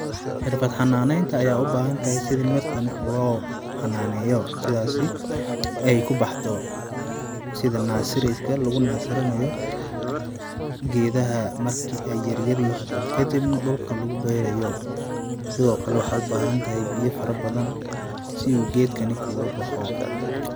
Xirfad xananeynta ayey ubahantahay sidhi mirtan loxananeyo sidhasi ay kubaxdo sidhi nasiriska lugu nasirinayo gedaha marki yaryaryin kadibna dulka lugu berayo, sidho kalewaxay ubahin biyo fara badhan siyu gedkani kugu baxo.